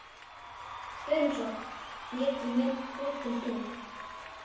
Förum svo, ég til mín, þú til þín.